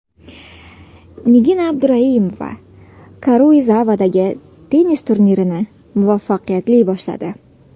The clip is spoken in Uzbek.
Nigina Abduraimova Karuizavadagi tennis turnirini muvaffaqiyatli boshladi.